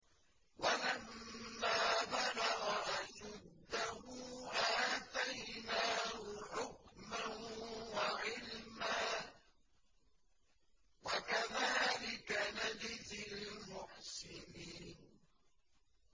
وَلَمَّا بَلَغَ أَشُدَّهُ آتَيْنَاهُ حُكْمًا وَعِلْمًا ۚ وَكَذَٰلِكَ نَجْزِي الْمُحْسِنِينَ